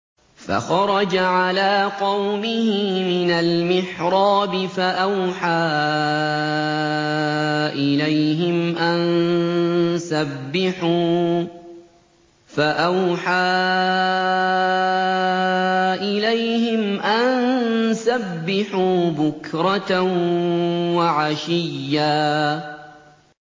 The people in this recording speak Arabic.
فَخَرَجَ عَلَىٰ قَوْمِهِ مِنَ الْمِحْرَابِ فَأَوْحَىٰ إِلَيْهِمْ أَن سَبِّحُوا بُكْرَةً وَعَشِيًّا